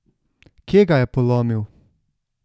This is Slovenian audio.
Kje ga je polomil?